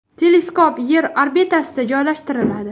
Teleskop Yer orbitasida joylashtiriladi.